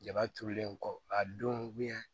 Jaba turulen kɔ a don